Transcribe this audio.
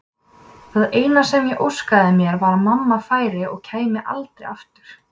Það eina sem ég óskaði mér var að mamma færi og kæmi aldrei aftur.